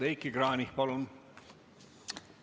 Heiki Kranich, palun!